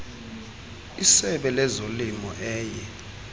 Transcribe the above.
esebe lezolimo eye